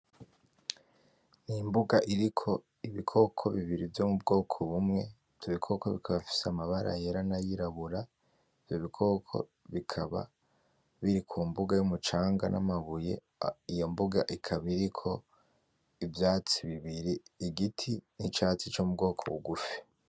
Imbuga iriko ibikoko bibiri vyo mubwoko bumwe. ivyo bikoko bikaba bifise amabara yera n’ayirabura. ivyo bikoko bikaba biri kumbuga yumucanga n’amabuye ikaba iriko igiti n’icatsi co mubwoko bugufi